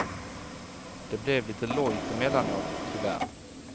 Det blev lite lojt emellanåt, tyvärr.